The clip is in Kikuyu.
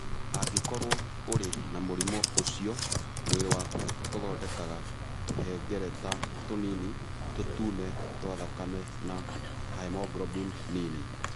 Angĩkorũo ũrĩ na mũrimũ ũcio, mwĩrĩ waku ũthondekaga tũhengereta tũnini tũtune twa thakame na hemoglobin nini.